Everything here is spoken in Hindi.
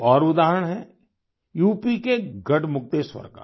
एक और उदाहरण है यूपी के गढ़मुक्तेश्वर का